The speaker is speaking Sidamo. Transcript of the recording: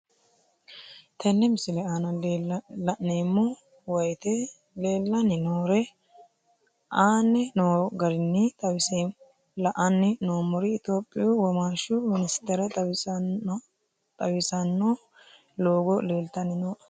Tenne misile aana laeemmo woyte leelanni noo'ere aane noo garinni xawiseemmo. La'anni noomorri Ethiopiyu womaashshu minisitere xawisanno loogo leelitani nooe.